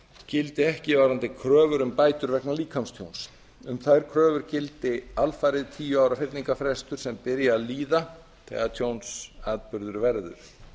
gildi ekki varðandi kröfur um bætur vegna líkamstjóns um þær kröfur gildi alfarið tíu ára fyrningarfrestur sem byrji að líða þegar tjónsatburður verður